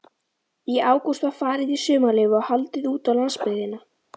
Í ágúst var farið í sumarleyfi og haldið útá landsbyggðina.